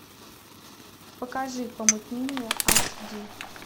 покажи помутнение аш ди